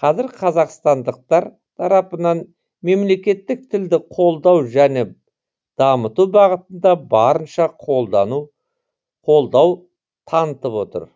қазір қазақстандықтар тарапынан мемлекеттік тілді қолдау және дамыту бағытында барынша қолдау танытып отыр